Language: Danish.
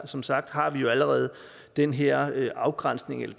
som sagt har vi allerede den her afgrænsning eller